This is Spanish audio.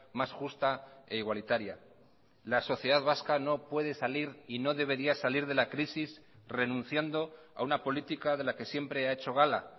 más justa e igualitaria la sociedad vasca no puede salir y no debería salir de la crisis renunciando a una política de la que siempre ha hecho gala